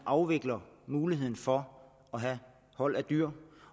afvikler muligheden for at have hold af dyr